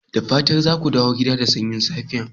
Da fatan za ku dawo gida da sanyin safiyar nan?